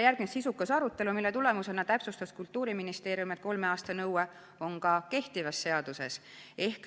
Järgnes sisukas arutelu, mille tulemusena täpsustas Kultuuriministeerium, et kolme aasta nõue on ka kehtivas seaduses.